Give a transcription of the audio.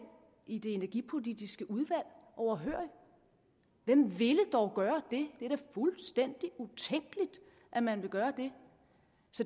i det energipolitiske udvalg overhørig hvem ville dog gøre det det er da fuldstændig utænkeligt at man vil gøre det